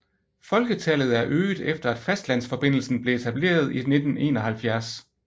Folketallet er øget efter at fastlandsforbindelsen blev etableret i 1971